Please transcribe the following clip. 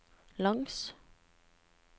langs